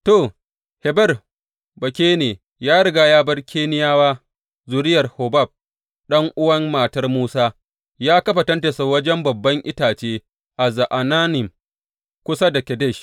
To, Heber Bakene ya riga ya bar Keniyawa, zuriyar Hobab, ɗan’uwan matar Musa, ya kafa tentinsa wajen babban itace a Za’anannim kusa da Kedesh.